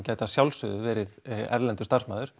gæti að sjálfsögðu verið erlendur starfsmaður